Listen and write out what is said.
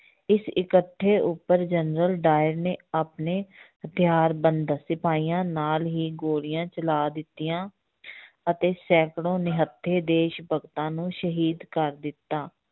ਇਸ ਇਕੱਠੇ ਉੱਪਰ ਜਨਰਲ ਡਾਇਰ ਨੇ ਆਪਣੇ ਹਥਿਆਰਬੰਦ ਸਿਪਾਹੀਆਂ ਨਾਲ ਹੀ ਗੋਲੀਆਂ ਚਲਾ ਦਿੱਤੀਆਂ ਅਤੇ ਸੈਂਕੜੋ ਨਿਹੱਥੇ ਦੇਸ ਭਗਤਾਂ ਨੂੰ ਸ਼ਹੀਦ ਕਰ ਦਿੱਤਾ।